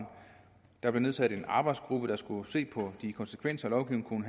der blev nedsat en arbejdsgruppe der skulle se på de konsekvenser lovgivningen